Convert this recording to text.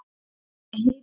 Ég heyrði